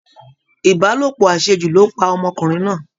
Ìbálòpọ̀ àṣejù ló pa ọmọkùnrin náà